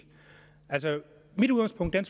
mit udgangspunkt og